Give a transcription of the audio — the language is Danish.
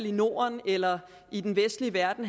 i norden eller i den vestlige verden